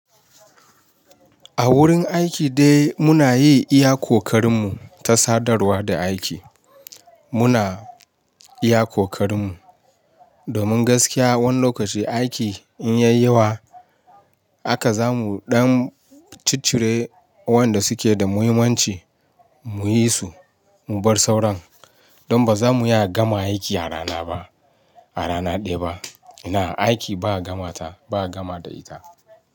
A wurin aiki dai muna yi iya kokarin mu ta sadarwa da aiki. Muna iya kokarin mu. Domin gaskiya wani lokaci aiki in ya yi yawa haka zamu ɗan ciccire wa'yanda suke da muhimmanci muyi su mu bar sauran. Don ba za mu iya gama aiki a rana ba, a rana ɗaya ba. Ina aiki ba a gama ta, ba a gama da ita.